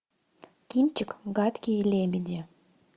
кинчик гадкие лебеди